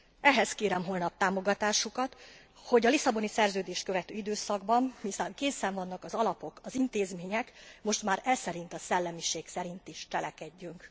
Ehhez kérem holnap támogatásukat, hogy a Lisszaboni Szerződést követő időszakban hiszen készen vannak az alapok, az intézmények most már eszerint a szellemiség szerint is cselekedjünk.